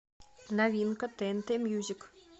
новинка тнт мьюзик